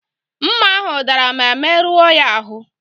Mma ahụ dara ma merụọ ya ahụ.